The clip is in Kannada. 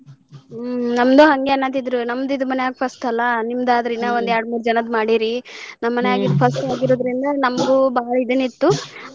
ಹ್ಮ್ ನಮ್ದು ಹಂಗೆ ಅನ್ನಾತಿದ್ರು ನಮ್ದ್ ಇದ್ ಮನ್ಯಾಗ first ಅಲಾ ನಿಮ್ದ ಆದ್ರ ಇನ್ನ ಒಂದೆರ್ಡ್ಮೂರ ಜನಕ್ಕ ಮಾಡೇರಿ ನಮ್ ಮನ್ಯಾಗ ಇದ್ first ಆಗಿರೋದ್ರಿಂದ ನಮ್ದು ಬಾಳ್ ದನ ಇತ್ತು .